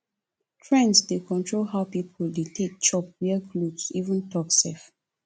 trends dey control how people dey take chop wear cloth even talk sef